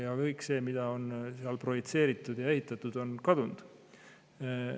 Ja kõik see, mida on seal projitseeritud ja ehitatud, on kadunud.